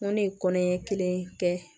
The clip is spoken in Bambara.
N ko ne ye kɔnɔɲɛ kelen kɛ